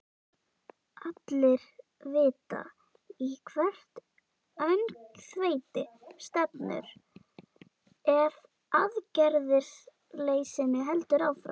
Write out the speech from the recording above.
Allir vita í hvert öngþveiti stefnir ef aðgerðarleysinu heldur áfram.